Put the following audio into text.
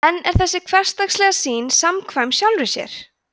en er þessi hversdagslega sýn samkvæm sjálfri sér